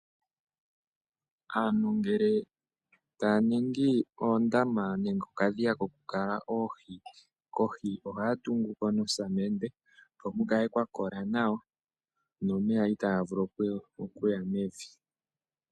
Aantu ngele taya ningi oondama nenge okadhiya kokukala oohi, kohi ohaya tungu ko nosamende, opo kukale kwakola nawa nomeya kaaga vule okuya mevi.